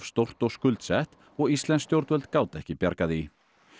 stórt og skuldsett og íslensk stjórnvöld gátu ekki bjargað því